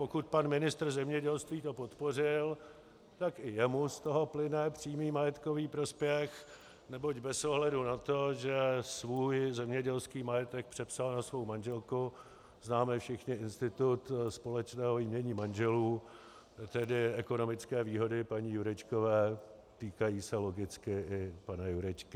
Pokud pan ministr zemědělství to podpořil, tak i jemu z toho plyne přímý majetkový prospěch, neboť bez ohledu na to, že svůj zemědělský majetek přepsal na svou manželku - známe všichni institut společného jmění manželů, tedy ekonomické výhody paní Jurečkové týkají se logicky i pana Jurečky.